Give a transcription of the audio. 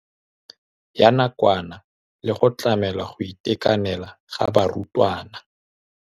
Ya nakwana le go tlamela go itekanela ga barutwana.